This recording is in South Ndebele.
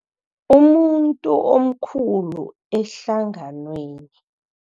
Umuntu omkhulu ehlanganweni.